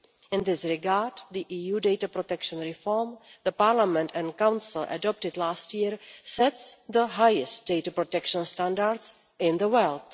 In this regard the EU data protection reform the Parliament and Council adopted last year sets the highest data protection standards in the world.